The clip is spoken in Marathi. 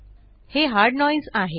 हे हार्ड नोइसे आहे